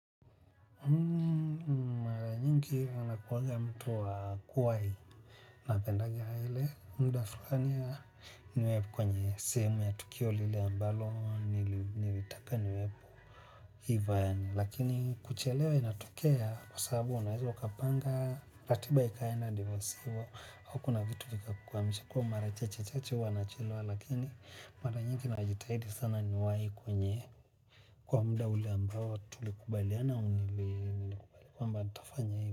Mara nyingi nakuwaga mtu wa kuwai. Napendanga ile muda fulani niwebkwenye sehemu ya tukio lile ambalo nilitaka niwepo. Hivyo yaani lakini kuchelewa inatokea kwa sababu unaweza ukapanga ratiba ikaenda ndivyo sivyo au kuna vitu vikakukwamisha kuwa mara chache chache huwa nachelewa lakini mara nyingi najitahidi sana niwahi kwenye kwa muda ule ambao tulikubaliana unili kwamba nitafanya hivyo.